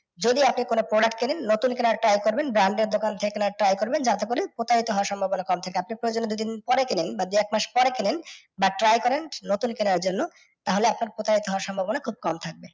যদি আপনি কোনও product কেনেন, নতুন কেনার try করবেন branded দোকান থেকে কেনার try করবেন যাতে করে প্রতারিত হওয়ার সম্ভাবনা কম থাকে। আপনি প্রয়োজনে দুদিন পরে কেনেন বা দু, এক মাস পরে কেনেন বা try করেন নতুন কেনার জন্য তাহলে আপনার প্রতারিত হওয়ার সম্ভাবনা খুব কম থাকবে।